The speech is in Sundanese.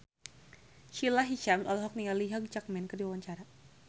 Sahila Hisyam olohok ningali Hugh Jackman keur diwawancara